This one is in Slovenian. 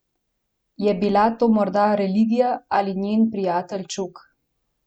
Je bila to morda reglja ali njen prijatelj čuk?